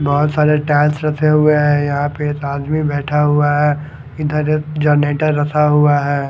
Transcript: बहुत सारे टाइल्स रखे हुए हैं यहाँ पे एक आदमी बैठा हुआ हैं इधर जनरेटर रखा हुआ हैं।